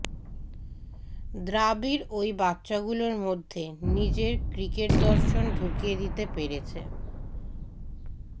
দ্রাবিড় এই বাচ্চাগুলোর মধ্যে নিজের ক্রিকেটদর্শন ঢুকিয়ে দিতে পেরেছে